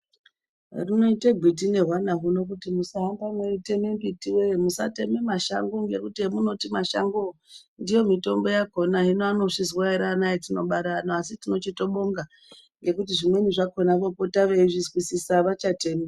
Runoite gwiti nehwana huno kuti musahamba mweiteme mbiti wee musateme mashango ngekuti emunoti mashangowo ndiyo mitombo yakhona. Hino anozvizwa ere ana atinobara ano asi tinochitobonga ngekuti zvimweni zvakhona vopota veizvizwisisa avachatemi.